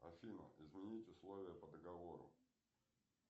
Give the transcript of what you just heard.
афина изменить условия по договору